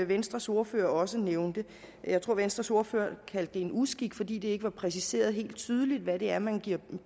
venstres ordfører også nævnte jeg tror venstres ordfører kaldte det en uskik fordi det ikke var præciseret helt tydeligt hvad det er man giver